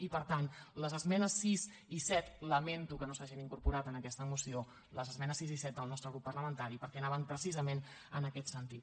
i per tant les esmenes sis i set lamento que no s’hagin incorporat en aquesta moció les esmenes sis i set del nostre grup parla·mentari perquè anaven precisament en aquest sentit